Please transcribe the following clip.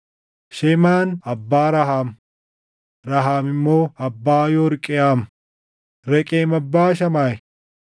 Shemaan abbaa Raham; Raham immoo abbaa Yorqeʼaam. Reqem abbaa Shamaayi.